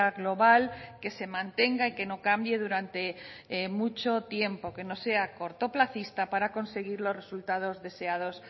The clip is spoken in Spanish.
global que se mantenga y que no cambie durante mucho tiempo que no sea cortoplacista para conseguir los resultados deseados